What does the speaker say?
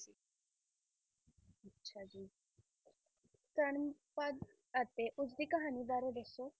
ਧਰਮਪਦ ਅਤੇ ਉਸਦੀ ਕਹਾਣੀ ਬਾਰੇ ਦੱਸੋ।